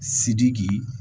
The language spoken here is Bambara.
Sidiki